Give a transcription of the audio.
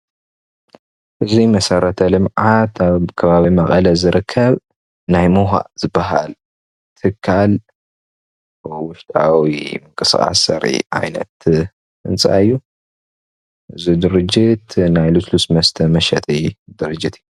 እዚ መስረተልምዓት አብ ከባቢ መቐለ ዝርከበ ናይ ሙሃ ዝበሃል ትካል ውሽጣዊ ምንቅስቃስ ዘሪኢ ዓይነት ህንፃ እዩ፡፡ እዚ ድርጀት ናይ ልስሉስ መስተ መሽጢ ድርጀት እዩ፡፡